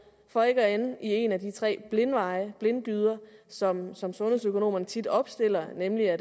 for ikke at ende i en af de tre blindgyder som som sundhedsøkonomerne tit opstiller nemlig at